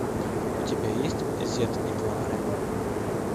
у тебя есть зет и два ноля